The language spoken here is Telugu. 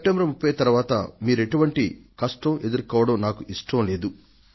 సెప్టెంబర్ 30 తరువాత మీరెటువంటి కష్టం ఎదుర్కోవడం నాకు ఇష్టం లేదు